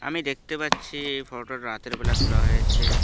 আমি দেখতে পাচ্ছি এই ফটোটা রাতের বেলা তোলা হয়েছে।